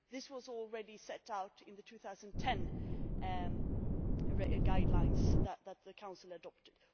This was already set out in the 2010 guidelines that the Council adopted.